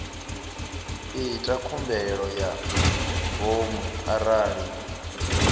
ita khumbelo ya ngomu arali